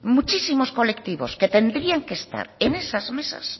muchísimos colectivos que tendrían que estar en esas mesas